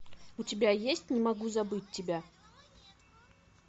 у тебя есть не могу забыть тебя